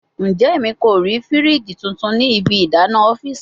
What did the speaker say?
Njẹ Emi ko rii firiji tuntun ni ibi idana ọfiisi?